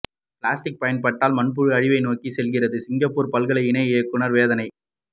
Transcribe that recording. plastic பயன்பாட்டால் மண்புழு அழிவை நோக்கி செல்கிறது சிங்கப்பூர் பல்கலை இணை இயக்குநர் வேதனை